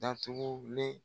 Dantugule